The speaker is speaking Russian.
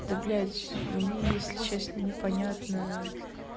да блять мне если честно не понятно